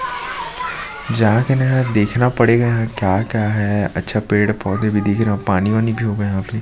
जाके न यार देखना पड़ेगा यहाँ क्या-क्या है अच्छा पेड़ पौधे भी दिख रहे है पानी वानी भी होगा यहाँ पे--